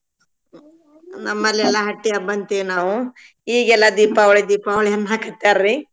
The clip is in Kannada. ನಮ್ಮಲ್ಲೆಲ್ಲಾ ಹಟ್ಟಿ ಹಬ್ಬಂತೇವ್ ನಾವು ಈಗ್ ಎಲ್ಲಾ ದೀಪಾವಳಿ ದೀಪಾವಳಿ ಅನ್ನಾಕತ್ತಾರ್ರಿ.